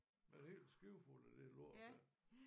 Med et skib fuld af det lort der